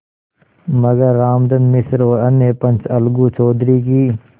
मगर रामधन मिश्र और अन्य पंच अलगू चौधरी की